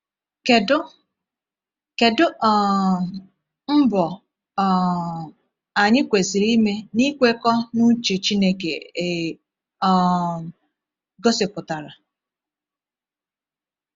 Kedu Kedu um mbọ um anyị kwesịrị ime n’ikwekọ na uche Chineke e um gosipụtara?